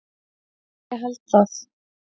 Eða ég held það.